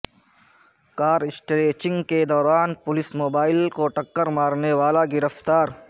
کار scratching کے دوران police mobile کو ٹکرمارنےوالا گرفتار